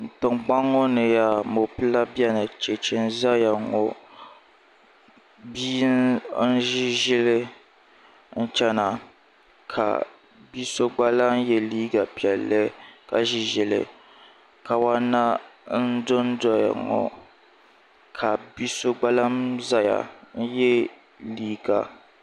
tiŋkpaŋ ŋɔ ni yaa mɔpila beni cheche n-zaya ŋɔ bia n-ʒi ʒili n-chena ka bi'so gba lan n-ye liiga piɛlli ka ʒi ʒili kawana n-dondoya ŋɔ ka bi'so gba lan n-zaya n-ye liiga